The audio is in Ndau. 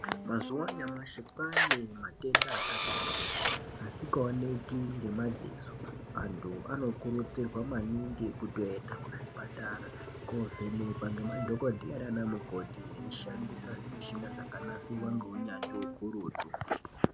Mazuwa anyamushi kwaane matenda akati kuti asingaoneki ngemadziso Antu anokurudzirwa maningi kutoenda kuzvipatara kovhenekwa nemadhokodheya nana mukoti veishandise zvimishina zvakanasirwa ngeunyanzvi ukurutu.